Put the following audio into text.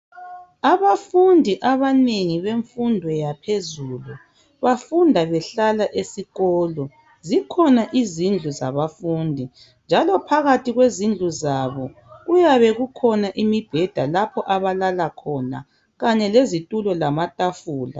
Abafundi abanengi bemfundo yaphezulu bafunda behlala esikolo. Zikhona izindlu zabafundi njalo phakathi kwezindlu zabo kuyabe kukhona imibheda lapho abalala khona Kanye lezithulo lamathafula.